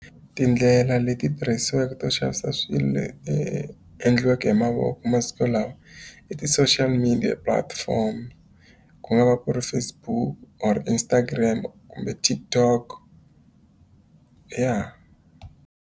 Tindlela leti tirhisiweke to xavisa swilo endliweke hi mavoko masiku lawa, i ti-social media platform. Ku nga va ku ri Facebook, or Instagram kumbeTtikTok. Ya.